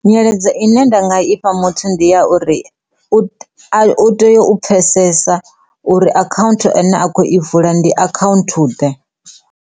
Nyeledzo ine nda nga ifha muthu ndi ya uri u tea u pfhesesa uri account ine a kho i vula ndi account ḓe.